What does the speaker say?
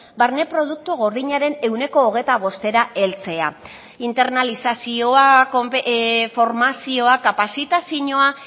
barne produktu gordinaren ehuneko hogeita bostera heltzea internalizazioa formazioa kapazitazioa